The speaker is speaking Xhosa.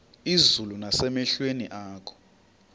izulu nasemehlweni akho